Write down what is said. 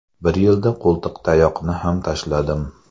Bir yilda qo‘ltiqtayoqni ham tashladim.